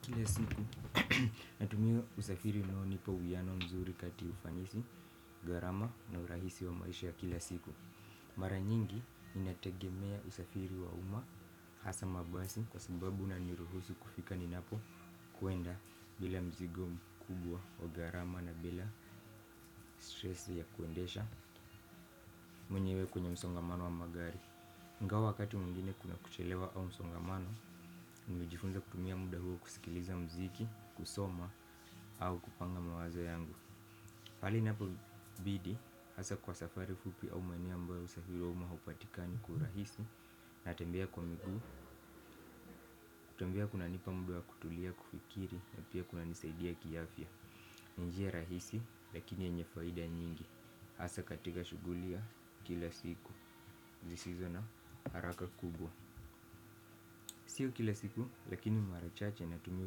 Kila siku natumia usafiri unao nipa uyiano mzuri kati ufanisi, gharama na urahisi wa maisha ya kila siku. Mara nyingi inategemea usafiri wa umma hasa mabasi kwa sababu una niruhusu kufika ninapo kwenda bila mzigo mkubwa au gharama na bila stresi ya kuendesha mwenyewe kwenye msongamano wa magari ingawa wakati mwigine kuna kuchelewa au msongamano, nilijifunza kutumia mda huo kusikiliza mziki, kusoma au kupanga mawazo yangu hali inapo bidi, hasa kwa safari fupi au maeneo ambayo usafiri wa humo haupatikani kwa urahisi. Na tembea kwa miguu, kutembea kunanipa mda kutulia kufikiri na pia kuna nisaidia kiafya. Ni njia rahisi lakini yenye faida nyingi, hasa katika shughuli ya kila siku zisizo na haraka kubwa. Sio kila siku, lakini mara chache natumia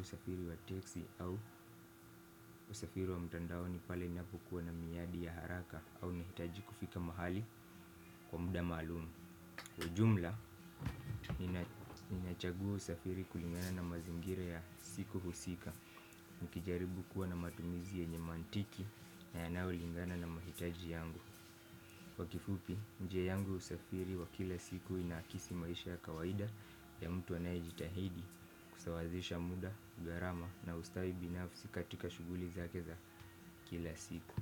usafiri wa texi au usafiri wa mtandaoni pale ninapokuwa na miyadi ya haraka au nahitaji kufika mahali kwa mda maluum. Kwa jumla, ninachagua usafiri kulingana na mazingira ya siku husika. Mkijaribu kuwa na matumizi yenye mantiki na yanayo lingana na mahitaji yangu. Kwa kifupi, njia yangu ya usafiri wa kila siku inakisi maisha ya kawaida ya mtu anaye jitahidi kusawazisha mda, gharama na ustawi binafsi katika shughuli zake za kila siku.